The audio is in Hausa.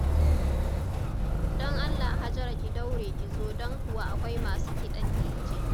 Don Allah Hajara ki daure ki zo don kuwa akwai masu kiɗan dije.